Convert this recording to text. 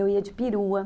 Eu ia de perua.